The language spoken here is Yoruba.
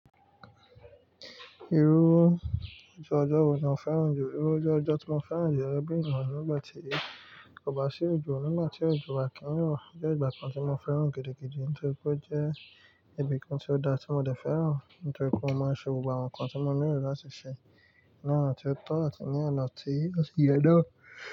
Irú ojú ọjọ́ wo ni o féràn jù? Irú oju ọjọ́ ti mo féràn jù gẹ́gẹ́ bí ènìyàn ni nigbà tí kò bá sí ojò nígbà tí òjò bá kí n rọ̀ jẹ́ ìgbà kan tí mo féràn gidigidi nítorí pé ó jẹ́ ibìkan tí ó dá tí mo dẹ̀ féràn nítorí pé mo máa n ṣe gbogbo àwọn nnkàn tí mo nílò láti ṣẹ ní ọ̀nà tí ó tọ̀ àti ní ọ̀nà tí ó sì yẹ náà.